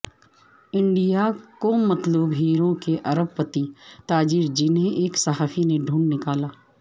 India کو مطلوب ہیروں کے ارب پتی تاجر جنھیں ایک صحافی نے ڈھونڈ نکالا